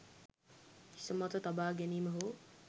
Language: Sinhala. හිස මත තබා ගැනීම හෝ